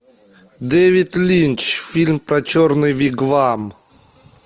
дэвид линч фильм про черный вигвам